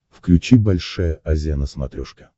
включи большая азия на смотрешке